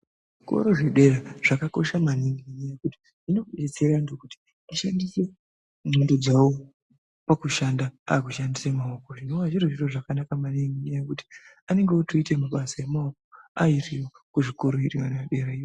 Koro zvedera zvakakosha maningi ngenyaya yekuti zvinodetsera antu kuti ashandise ndxondo dzawo pakushanda akushandise maoko zvinova zviro zvakanaka maningi nekuti anenge otoite mabasa emaoko aise kuzvikoreda derayo.